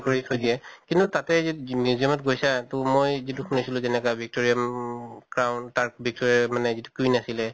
কৰি থৈ দিয়ে। কিন্তু তাতে যি museum ত গৈছা তো মই যিটো শুনিছিলো যেনেকা victoria উম উম crown তাৰ victoria মানে যিটো queen আছিলে